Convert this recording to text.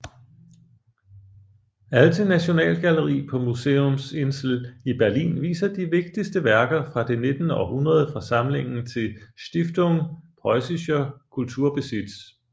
Alte Nationalgalerie på Museumsinsel i Berlin viser de vigtigste værker fra det nittende århundrede fra samlingen til Stiftung Preussischer Kulturbesitz